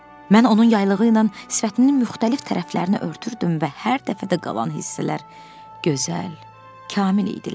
Mən onun yaylığı ilə sifətinin müxtəlif tərəflərini örtürdüm və hər dəfə də qalan hissələr gözəl, kamil idilər.